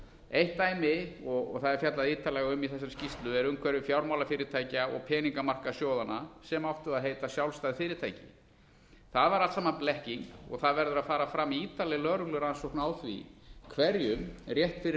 eitt dæmi og það er fjallað ítarlega um í þessari skýrslu er umhverfi fjármálafyrirtækja og peningamarkaðssjóðanna sem áttu að heita sjálfstæð fyrirtæki það var allt saman blekking og það verður að fara fram ítarleg lögreglurannsókn á því hverjum rétt fyrir